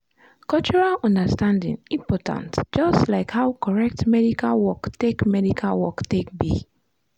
cultural understanding important just like how correct medical work take medical work take be.